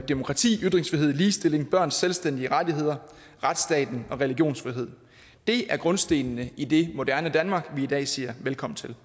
demokrati ytringsfrihed ligestilling børns selvstændige rettigheder retsstaten og religionsfrihed er grundstenene i det moderne danmark vi i dag siger velkommen til